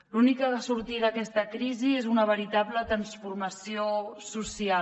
l’única sortida a aquesta crisi és una veritable transformació social